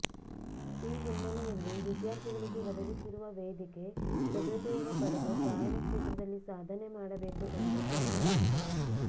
ಈ ಹಿನ್ನೆಲೆಯಲ್ಲಿ ವಿದ್ಯಾರ್ಥಿಗಳಿಗೆ ಒದಗಿಸಿರುವ ವೇದಿಕೆ ಸದುಪಯೋಗ ಪಡೆದು ಗಾಯನ ಕ್ಷೇತ್ರದಲ್ಲಿ ಸಾಧನೆ ಮಾಡಬೇಕು ಎಂದು ಸಲಹೆ ನೀಡಿದರು